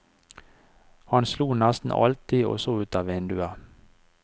Han sto nesten alltid og så ut av vinduet.